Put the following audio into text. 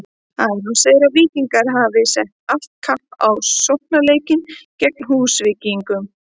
Aron segir að Víkingar hafi sett allt kapp á sóknarleikinn gegn Húsvíkingum.